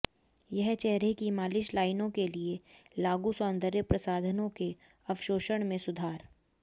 यह चेहरे की मालिश लाइनों के लिए लागू सौंदर्य प्रसाधनों के अवशोषण में सुधार